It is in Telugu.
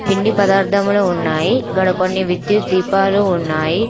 పిండి పదార్థములు ఉన్నాయి ఇగ్గడ కొన్ని విద్యుత్ దీపాలు ఉన్నాయి.